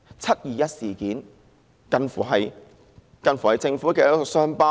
"七二一"事件更近乎是政府的一道傷疤。